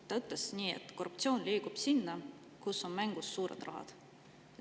Ta ütles nii, et korruptsioon liigub sinna, kus on mängus suured rahad.